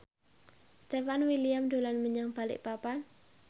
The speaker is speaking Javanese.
Stefan William dolan menyang Balikpapan